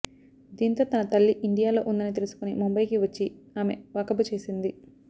దీంతో తన తల్లి ఇండియాలో ఉందని తెలుసుకొని ముంబయికి వచ్చి ఆమె వాకబు చేసింది